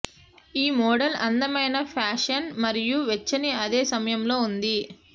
ఈ మోడల్ అందమైన ఫ్యాషన్ మరియు వెచ్చని అదే సమయంలో ఉంది